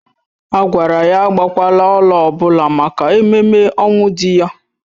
A gwara ya agbakwala ọla ọbụla maka ememme ọnwụ di ya